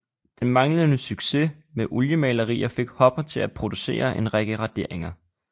Den manglende succes med oliemalerier fik hopper til at producere en række raderinger